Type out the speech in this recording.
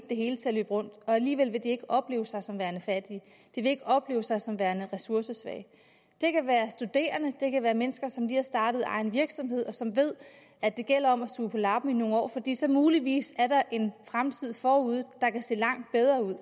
det hele til at løbe rundt og alligevel vil de ikke opleve sig som værende fattige de vil ikke opleve sig som værende ressourcesvage det kan være studerende det kan være mennesker som lige har startet egen virksomhed og som ved at det gælder om at suge på labben i nogle år fordi der så muligvis er en fremtid forude der kan se langt bedre ud